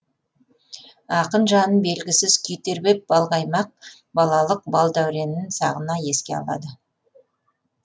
ақын жанын белгісіз күй тербеп балқаймақ балалық бал дәуренін сағына еске алады